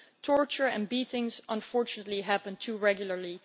torture and beatings unfortunately happen too regularly